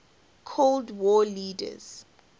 cold war leaders